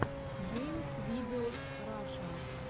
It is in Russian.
геймс видеос раша